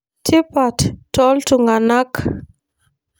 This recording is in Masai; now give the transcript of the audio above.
Tipat toltunganak